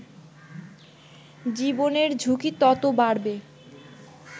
জীবনের ঝুঁকি তত বাড়বে